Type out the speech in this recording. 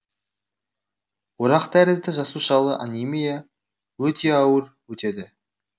орақтәрізді жасушалы анемия өте ауыр өтеді